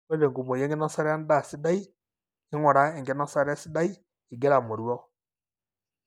ore tenkumoi enkinosata endaa sidai. ingura enkinosata sidai ingira amoruau.